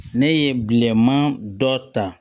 Ne ye bilenman dɔ ta